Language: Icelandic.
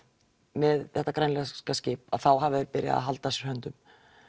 með þetta grænlenska skip þá hafi þeir byrjað að halda að sér höndum